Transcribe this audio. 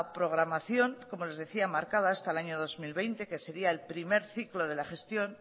programación como les decía marcada hasta el año dos mil veinte que sería el primer ciclo de la gestión